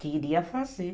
Queria fazer.